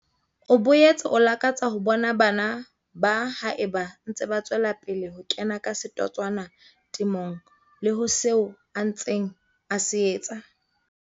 O boetse o lakatsa ho bona bana ba haeba ntse ba tswela pele ho kena ka setotswana temong le ho seo a ntseng a se etsa.